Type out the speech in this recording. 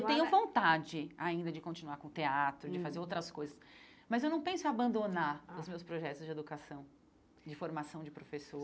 Eu tenho vontade ainda de continuar com o teatro hum, de fazer outras coisas, mas eu não penso em abandonar ah os meus projetos de educação, de formação de